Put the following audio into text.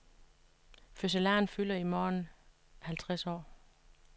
Fødselaren fylder i morgen halvtreds år.